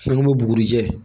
An bɛ bugurijɛ